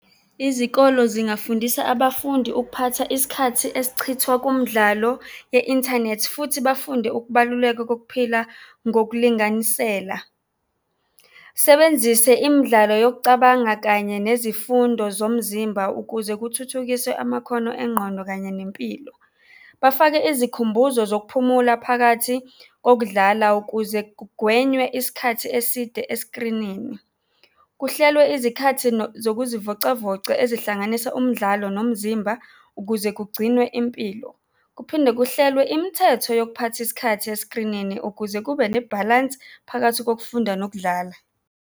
Izikolo zingafundisa abafundi ukuphatha isikhathi esichithwa kumdlalo ye-inthanethi futhi bafunde ukubaluleka kokuphila ngokulinganisela. Sebenzise imidlalo yokucabanga kanye nezifundo zomzimba ukuze kuthuthukiswe amakhono engqondo kanye nempilo. Bafake izikhumbuzo zokuphumula phakathi kokudlala ukuze kugwenywe isikhathi eside eskrinini. Kuhlelwe izikhathi zokuzivocavoca ezihlanganisa umdlalo nomzimba ukuze kugcinwe impilo. Kuphindwe kuhlelwe imithetho yokuphatha isikhathi eskrinini ukuze kube nebhalansi phakathi kokufunda nokudlala.